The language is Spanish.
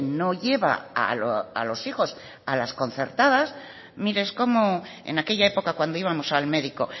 no lleva a los hijos a las concertadas mire es como en aquella época cuando íbamos al médico